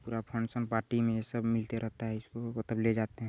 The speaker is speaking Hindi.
पूरा फंक्शन पार्टी में ये सब मिलता रहता है इसको तब ले जाते है।